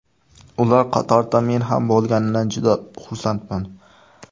Ular qatorida men ham bo‘lganimdan juda xursandman.